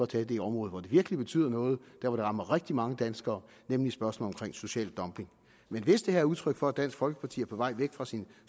tage det område hvor det virkelig betyder noget der hvor det rammer rigtig mange danskere nemlig spørgsmålet om social dumping men hvis det her er udtryk for at dansk folkeparti er på vej væk fra sin